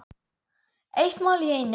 Eitt mál í einu.